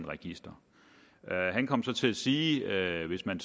register han kom så til at sige at hvis man